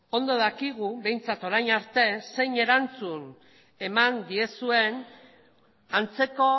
ondo dakigu behintzat orain arte zein erantzun eman diezuen antzeko